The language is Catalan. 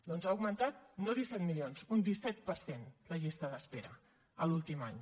doncs ha augmentat no disset milions un disset per cent la llista d’espera l’últim any